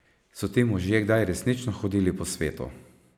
So ti možje kdaj resnično hodili po svetu?